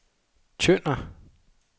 Tønder